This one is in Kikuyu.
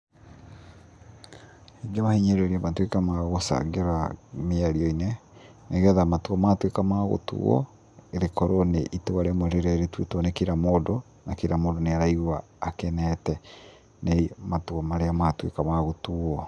Ingĩmahinyĩrĩria matuĩke magũcangĩra mĩario-inĩ, nĩgetha matua matuĩka ma gũtuwo, rĩkorwo nĩ itua rĩmwe rĩrĩa rĩtuĩtwo nĩ kira mũndũ, na kira mũndũ nĩ araigua akenete nĩ matua marĩa matũĩka ma gũtuwo.